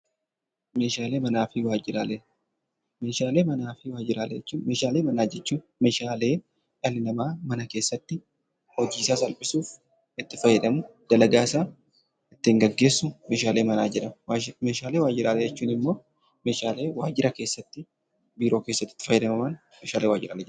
Meeshaalee manaa fi waajiraalee Meeshaalee manaa fi waajiraalee jechuun Meeshaalee manaa jechuudha. Meeshaalee dhalli namaa mana keessatti hojii isaa salphisuuf itti fayyadamu, dalagaa isaa ittiin gaggeessu Meeshaalee manaa jedhamu. Meeshaalee waajiraalee jechuun immoo Meeshaalee waajira keessatti biiroo keessatti itti fayyadamaman Meeshaalee waajira jedhamu.